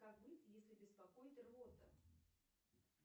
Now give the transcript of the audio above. как быть если беспокоит рвота